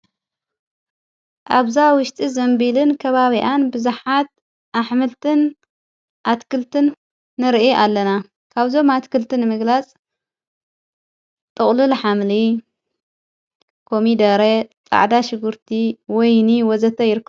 ኣብዛ ውሽጢ ዘንቢልን ከባቢኣን ብዙሓት ኣሕምልትን ኣትክልትን ንርኢ ኣለና ካብዞም ኣትክልትን ምግላጽ ጠቕልል ኃምሊ ኮሚ ደረ ጣዕዳ ሽጉርቲ ወይኒ ወዘተ ይሩሩ።